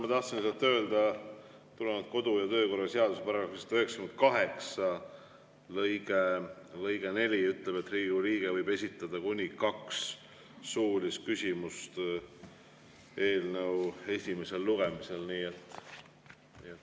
Ma tahtsin lihtsalt öelda, et tulenevalt kodu‑ ja töökorra seaduse § 98 lõikest 4 võib Riigikogu liige esitada eelnõu esimesel lugemisel kuni kaks suulist küsimust.